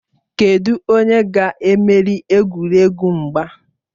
Kedụ onye ga-emeri egwuregwu mgba?